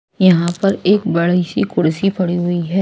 यहां पर एक बड़ी सी कुर्सी पड़ी हुई है।